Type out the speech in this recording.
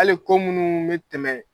Ali ko minnu bɛ tɛmɛ.